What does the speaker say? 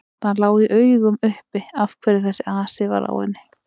Það lá í augum uppi af hverju þessi asi var á henni.